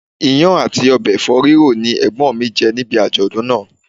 Iyán àti ọbẹ̀ Ẹ̀fọ́ ríro ni Ẹ̀gbọ́n mi jẹ níbi àjọ̀dún náà.